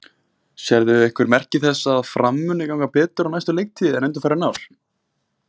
Sérðu einhver merki þess að Fram muni ganga betur á næstu leiktíð en undanfarin ár?